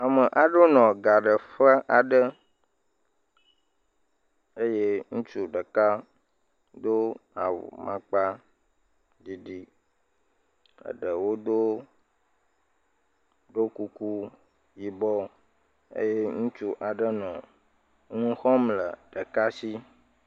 Ame aɖewo nɔ gaɖeƒe aɖe, eye ŋutsu ɖeka do awu makpaɖiɖi, eɖewo do ɖo kuku yibɔ eye ŋutsu aɖe hã nɔ nu xɔm le ɖeka si.